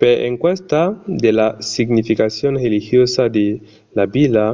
per encausa de la significacion religiosa de la vila